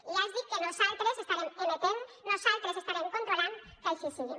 i ja els dic que nosaltres estarem amatents nosaltres estarem controlant que així sigui